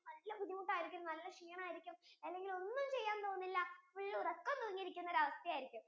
നല്ല ബുദ്ധിമുട്ടു ആയിരിക്കും നല്ല ഷീണം ആയിരിക്കും അല്ലെങ്കിൽ ഒന്നും ചെയ്യാൻ തോന്നില്ല full ഉറക്കം തൂങ്ങി ഇരിക്കുന്ന അവസ്ഥ ആയിരിക്കും